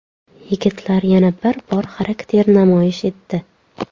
Yigitlar yana bir bor xarakter namoyish etdi.